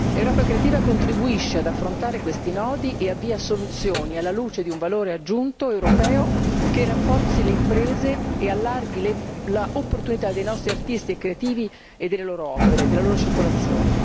Europa creativa contribuisce ad affrontare questi nodi e avvia soluzioni, alla luce di un valore aggiunto europeo che rafforzi le imprese e allarghi le opportunità dei nostri artisti e creativi e delle loro opere e della loro circolazione.